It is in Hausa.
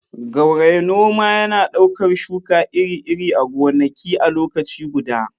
gauraye- noma yana ɗaukar shuka iri-iri a gonaki a lokaci guda